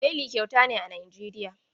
Beli kyauta ne a Nijeriya.